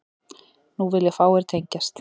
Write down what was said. Nú vilja fáir tengjast